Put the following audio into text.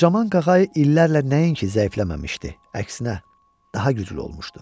Qocaman qağayı illərlə nəinki zəifləməmişdi, əksinə daha güclü olmuşdu.